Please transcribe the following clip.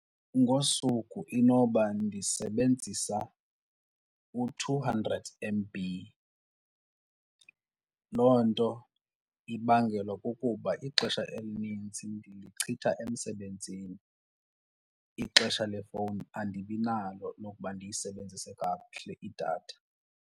Ngosuku inoba ndisebenzisa u-two hundred M_B. Loo nto ibangelwa kukuba kubo ixesha elinintsi ndilichitha emsebenzini, ixesha lefowuni andibinalo lokuba ndiyisebenzise kakuhle idatha.